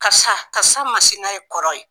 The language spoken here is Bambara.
Karisa karisa masina ye kɔrɔ ye.